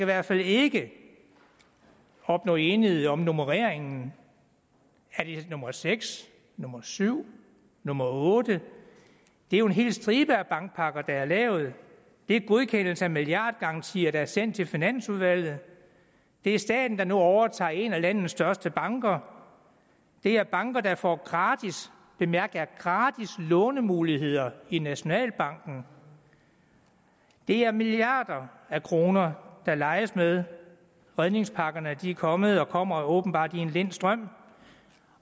hvert fald ikke opnå enighed om nummereringen er det nummer seks nummer syv nummer 8 det er jo en helt stribe af bankpakker der er blevet lavet det er godkendelse af milliardgarantier der er sendt til finansudvalget det er staten der nu overtager en af landets største banker det er banker der får gratis bemærk gratis lånemuligheder i nationalbanken det er milliarder af kroner der leges med redningspakkerne er kommet og kommer åbenbart i en lind strøm